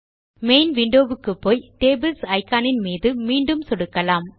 main window க்குப்போய் tables iconஇன் மீது மீண்டும் சொடுக்கலாம்